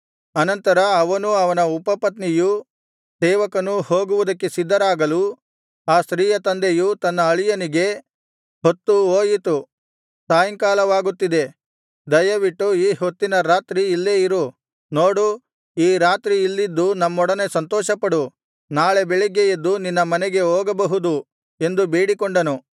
ಅನಂತರ ಅವನೂ ಅವನ ಉಪಪತ್ನಿಯೂ ಸೇವಕನೂ ಹೋಗುವುದಕ್ಕೆ ಸಿದ್ಧರಾಗಲು ಆ ಸ್ತ್ರೀಯ ತಂದೆಯು ತನ್ನ ಅಳಿಯನಿಗೆ ಹೊತ್ತು ಹೋಯಿತು ಸಾಯಂಕಾಲವಾಗುತ್ತಿದೆ ದಯವಿಟ್ಟು ಈ ಹೊತ್ತಿನ ರಾತ್ರಿ ಇಲ್ಲೇ ಇರು ನೋಡು ಈ ರಾತ್ರಿ ಇಲ್ಲಿದ್ದು ನಮ್ಮೊಡನೆ ಸಂತೋಷಪಡು ನಾಳೆ ಬೆಳಿಗ್ಗೆ ಎದ್ದು ನಿನ್ನ ಮನೆಗೆ ಹೋಗಬಹುದು ಎಂದು ಬೇಡಿಕೊಂಡನು